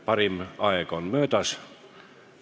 Parim aeg on möödas.